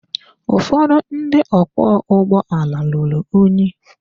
Ụfọdụ ndị ọkwọ ụgbọala ruru unyi.